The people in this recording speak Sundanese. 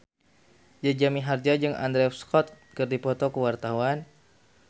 Jaja Mihardja jeung Andrew Scott keur dipoto ku wartawan